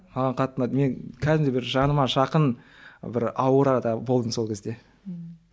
маған қатты ұнады мен кәдімгідей бір жаныма жақын бір аурада болдым сол кезде ммм